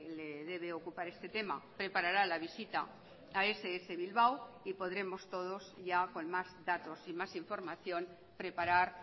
le debe ocupar este tema preparará la visita a ess bilbao y podremos todos ya con más datos y más información preparar